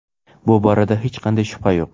Bu borada hech qanday shubha yo‘q.